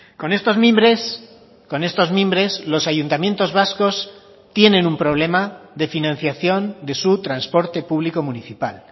con estos mimbres con estos mimbres los ayuntamientos vascos tienen un problema de financiación de su transporte público municipal